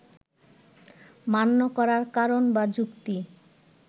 মান্য করার কারণ বা যুক্তি